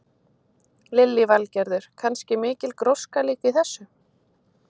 Lillý Valgerður: Kannski mikil gróska líka í þessu?